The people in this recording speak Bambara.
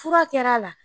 Fura kɛra a la